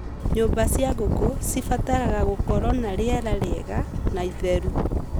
Nyũmba cia ngũkũ cibataraga gũkorwo na rĩera rĩega na itheru